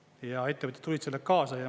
Ja ettevõtjad tulid sellega kaasa.